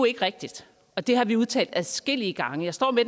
ikke rigtigt og det har vi udtalt adskillige gange jeg står med